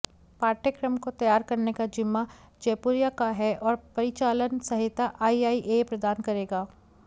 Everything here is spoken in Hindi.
पाठयक्रम को तैयार करने का जिम्मा जयपुरिया का है और परिचालन सहायता आईआईए प्रदान करेगा